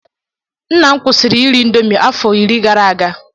Nna m kwụsịrị iri indomie afọ iri gara aga.